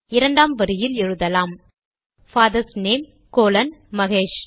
இரண்டாம் வரியில் எழுதலாம் பாதர்ஸ் நேம் கோலோன் மகேஷ்